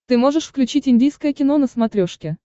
ты можешь включить индийское кино на смотрешке